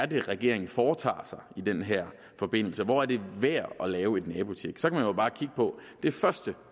det er regeringen foretager sig i den her forbindelse og hvor det er værd at lave et nabotjek så kan man jo bare kigge på at det første